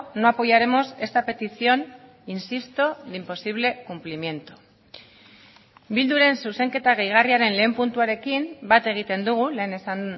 no apoyaremos esta petición insisto de imposible cumplimiento bilduren zuzenketa gehigarriaren lehen puntuarekin bat egiten dugu lehen esan